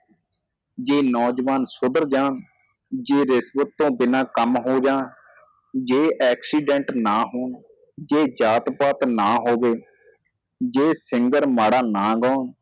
ਜੇ ਨੌਜਵਾਨ ਸੁਧਰ ਜਾਣ ਜਿਦੇ ਬਿਨਾ ਕੰਮ ਹੋ ਜਾਣ ਜੇ accident ਨਾ ਹੋਣ ਜੇ ਜਾਤ ਪਾਤ ਨਾ ਹੋਵੇ ਜੇ singer ਮਾੜਾ ਨਾ ਗਾਉਣ